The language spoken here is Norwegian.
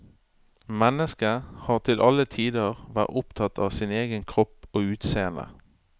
Mennesket har til alle tider vært opptatt av sin egen kropp og utseende.